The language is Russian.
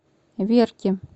верки